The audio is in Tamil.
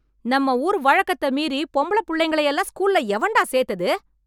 நம்ம ஊர் வழக்கத்தை மீறி, பொம்பள புள்ளைங்க எல்லாம் ஸ்கூல்ல எவன்டா சேர்த்தது?